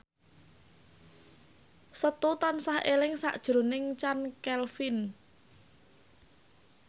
Setu tansah eling sakjroning Chand Kelvin